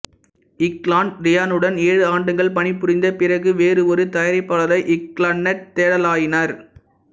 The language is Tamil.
க்லான்னட் ரியானுடன் ஏழு ஆண்டுகள் பணி புரிந்த பிறகு வேறு ஒரு தயாரிப்பாளரை க்லான்னட் தேடலாயினர்